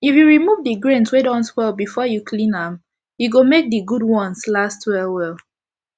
if u remove d grains wey don spoil before u clean am e go make d good ones last well well